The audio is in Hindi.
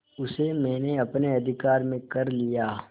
उसे मैंने अपने अधिकार में कर लिया